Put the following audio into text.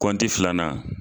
Kɔnti filanan